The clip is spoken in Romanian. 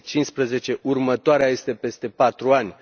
2015. Următoarea este peste patru ani.